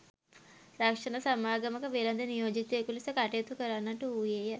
රක්ෂණ සමාගමක වෙළෙඳ නියෝජිතයකු ලෙස කටයුතු කරන්නට වූවේය